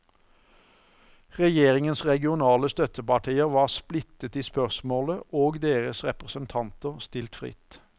Regjeringens regionale støttepartier var splittet i spørsmålet og deres representanter stilt fritt.